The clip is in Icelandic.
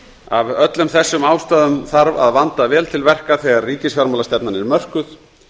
af öllum þessum ástæðum þarf að vanda vel til verka þegar ríkisfjármálastefnan er mörkuð